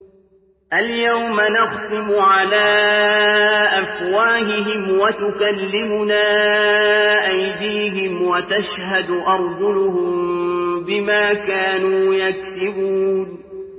الْيَوْمَ نَخْتِمُ عَلَىٰ أَفْوَاهِهِمْ وَتُكَلِّمُنَا أَيْدِيهِمْ وَتَشْهَدُ أَرْجُلُهُم بِمَا كَانُوا يَكْسِبُونَ